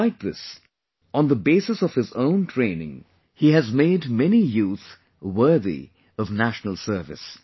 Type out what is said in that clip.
Despite this, on the basis of his own training, he has made many youth worthy of national service